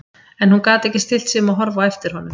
En hún gat ekki stillt sig um að horfa á eftir honum.